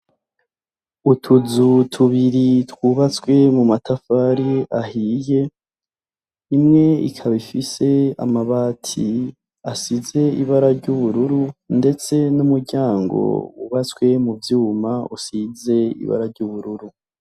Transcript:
Utuzu tubiri twubatswe mu matafari ahiye, imwe ikaba ifise amabati asize ibara ry'ubururu, ndetse n'umuryango wubatswe mu vyuma, usize ibara ry'ubururu.